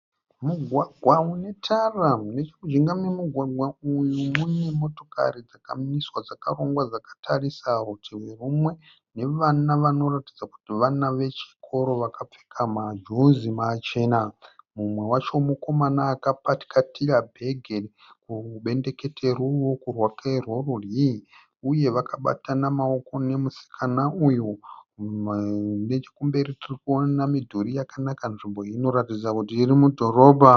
Mugwagwa une tara. Nechomujinga memugwagwa uyu mune motokari dzakamiswa dzakarongwa dzakatarisa rutivi rumwe nevana vanoratidza kuti vana vechikoro vakapfeka majuzi machena. Mumwe wacho mukomana akapakatira bhege kubendekete roruoko rwake rorudyi uye vakabatana maoko nomusikana uyu. Nechokumberi tiri kuona midhuri yakanaka. Nzvimbo iyi inoratidza kuti iri mudhorobha.